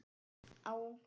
Á ungum aldri.